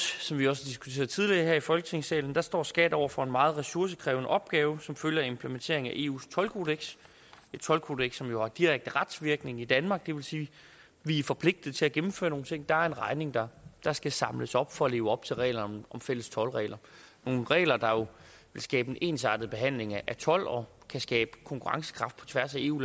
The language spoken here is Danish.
som vi også har diskuteret tidligere her i folketingssalen der står skat over for en meget ressourcekrævende opgave som følge af implementeringen af eus toldkodeks et toldkodeks som jo har direkte retsvirkning i danmark det vil sige at vi er forpligtet til at gennemføre nogle ting at der er en regning der der skal samles op for at leve op til reglerne om fælles toldregler nogle regler der vil skabe en ensartet behandling af told og kan skabe konkurrencekraft på tværs af eu